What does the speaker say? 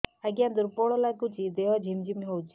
ଆଜ୍ଞା ଦୁର୍ବଳ ଲାଗୁଚି ଦେହ ଝିମଝିମ ହଉଛି